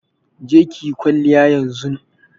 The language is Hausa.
Je ki yi kwalliya yanzun!